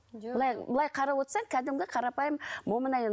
былай былай қарап отырсаң кәдімгі қарапайым момын әйел